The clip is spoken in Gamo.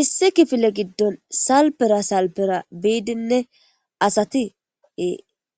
Issi kifile giddon salfera salfera biidinne asati